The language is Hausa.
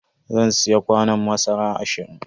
Zan siya kwanon masara ashirin.